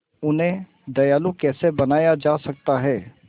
उन्हें दयालु कैसे बनाया जा सकता है